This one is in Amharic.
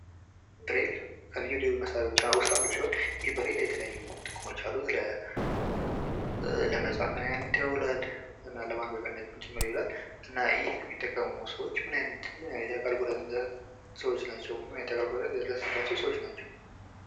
ብሬን ከልዩ ልዩ መሣሪያዎች መካከል አንዱ ሲሆን ብሬን የተለያዩ ጥቅሞች አሉት ።ለመጻፊይነት ይውላል ለማንበቢያነትም ጭምር ይውላል። እና ይህንን የሚጠቀሙ ሰዎች ምን አይነት የአካል ጉዳት እንደደረሰባቸው ምን አይነት የአካል ጉዳት የደረሰባቸው ሰዎች ?